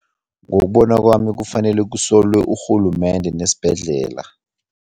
Ngokubona kwami kufanele kusolwe urhulumende nesibhedlela.